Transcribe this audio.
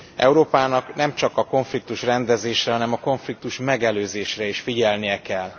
Európának nem csak a konfliktusrendezésre, hanem a konfliktusmegelőzésre is figyelnie kell.